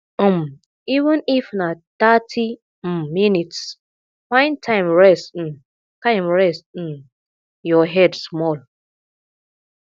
um even if na thirty um minutes find time rest um time rest um your head small